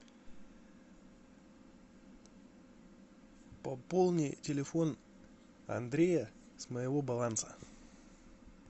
пополни телефон андрея с моего баланса